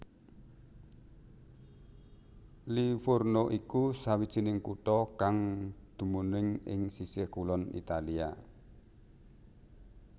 Livorno iku sawijining kutha kang dumunung ing sisih kulon Italia